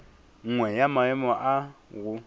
nngwe ya maemo a go